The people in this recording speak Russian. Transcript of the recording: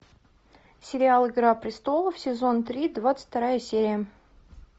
сериал игра престолов сезон три двадцать вторая серия